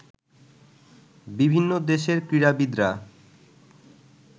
বিভিন্ন দেশের ক্রীড়াবিদরা